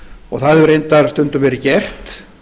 og það hefur reyndar stundum verið gert